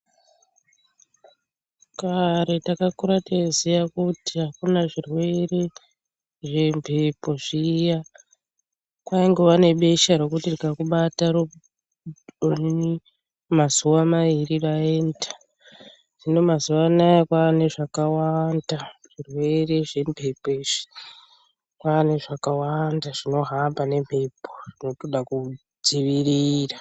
Kare takakura teiziya kuti hakuna zvirwere zvembepo zviya kwaingova nebesha rokuti rikakubata onini mazuva mairi raenda hino mazuvaanaya kwaane zvakawanda zvirwere zvembepo izvi kwaane zvakawanda zvinohamba ngembepo zvakuda kudzivirira .